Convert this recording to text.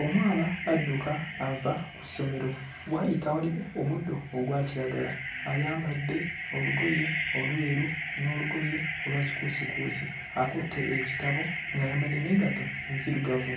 Omwana adduka ava ku ssomero w'ayita waliwo omuddo ogwa kiragala ayambadde olugoye olweru n'olugoye olwa kikuusikuusi akutte ekitabo ng'ayambadde n'engatto enzirugavu